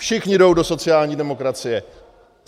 Všichni jdou do sociální demokracie.